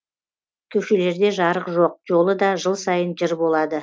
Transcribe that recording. көшелерде жарық жоқ жолы да жыл сайын жыр болады